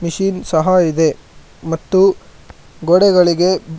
ಈ ಸಹ ಇದೆ ಮತ್ತು ಗೋಡೆಗಳಿಗೆ--